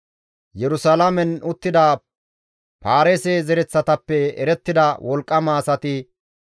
Yerusalaamen uttida Paareese zereththatappe erettida wolqqama asati 468.